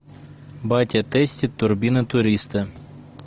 батя тестит турбина туриста